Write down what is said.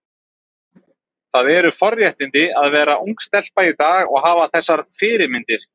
Það eru forréttindi að vera ung stelpa í dag og hafa þessar fyrirmyndir.